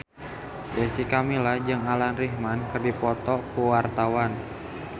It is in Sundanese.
Jessica Milla jeung Alan Rickman keur dipoto ku wartawan